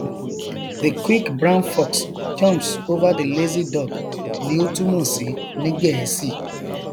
cs] the quick brown fox jumps over the lazy dog ni ó túmọ sí ní gẹẹsì